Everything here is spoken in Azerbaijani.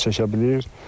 Nasoslar su çəkə bilir.